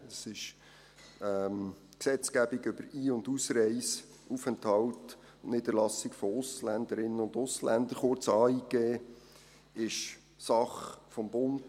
Die Gesetzgebung über die Ein- und Ausreise, den Aufenthalt und die Niederlassung von Ausländerinnen und Ausländern, kurz AIG, ist Sache des Bundes.